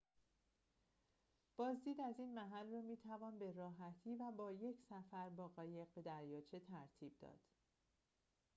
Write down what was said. بازدید از این محل را می‌توان به راحتی و با یک سفر با قایق به دریاچه ترتیب داد